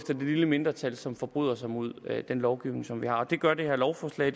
lille mindretal som forbryder sig mod den lovgivning som vi har det gør det her lovforslag